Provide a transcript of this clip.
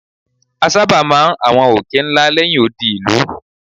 A sábà máa ń àwọn òkè ńlá lẹ́yìn odi ìlú.